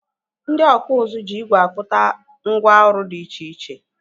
Ndị ọkpụ ụzụ jị igwe akpụta ngwá ọrụ dị iche iche.